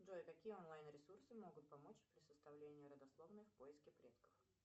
джой какие онлайн ресурсы могут помочь при составлении родословной в поиске предков